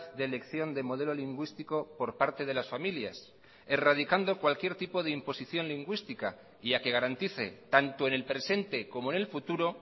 de elección de modelo lingüístico por parte de las familias erradicando cualquier tipo de imposición lingüística y a que garantice tanto en el presente como en el futuro